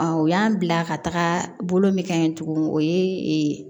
u y'an bila ka taga bolo min ka ɲi tuguni o ye